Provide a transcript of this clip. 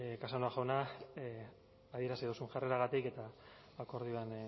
casanova jauna adierazi duzuen jarreragatik eta akordioan